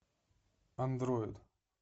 андроид